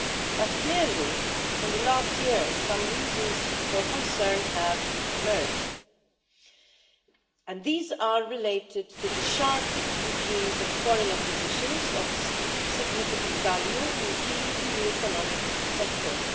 But clearly in the last year some reasons for concern have emerged and these are related to the sharp increase in foreign acquisitions of significant value in key EU economic sectors.